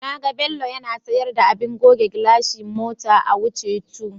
Na ga Bello yana sayar da abin goge gilashi mota a Wuse 2.